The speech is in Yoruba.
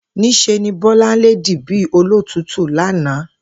Ní s̩e ni Bó̩láńlé dì bí olótùútù lánàá